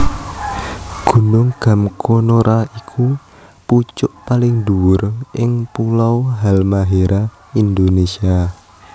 Gunung Gamkonora iku pucuk paling dhuwur ing pulo Halmahera Indonésia